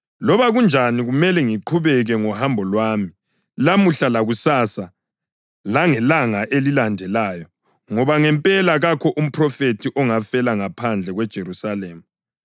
Loba kunjani kumele ngiqhubeke ngohambo lwami lamuhla lakusasa langelanga elilandelayo, ngoba ngempela kakho umphrofethi ongafela ngaphandle kweJerusalema!